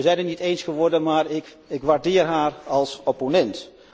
We zijn het niet eens geworden, maar ik waardeer haar als opponent.